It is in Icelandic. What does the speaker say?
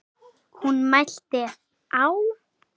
Hún mælti: Á